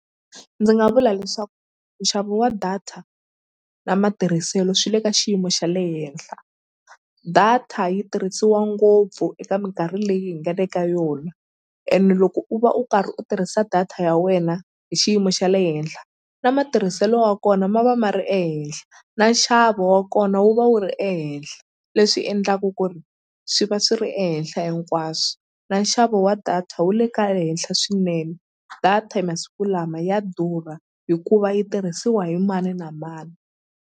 Ndzi nga vula leswaku nxavo wa data na matirhiselo swi le ka xiyimo xa le henhla data yi tirhisiwa ngopfu eka minkarhi leyi hi nga le ka yona ene loko u va u karhi u tirhisa data ya wena hi xiyimo xa le henhla na matirhiselo wa kona ma va ma ri ehenhla na nxavo wa kona wu va wu ri ehenhla leswi endlaku ku ri swi va swi ri ehenhla hinkwaswo na nxavo wa data wu le ka henhla swinene data e masiku lama ya durha hikuva yi tirhisiwa hi mani na mani.